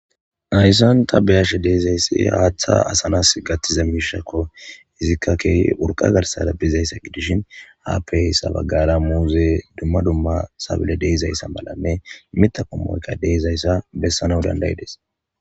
Hayisani ta beyashe dizayisi haaththa asa naasi gathishe diza mishakko hesikka kehi uriqa garisara bizayisa gidishshin hadirisara bagara kehippe muzeyi deizayisa malanne miththa qommoyikka deizayisa besanawu danidaideesi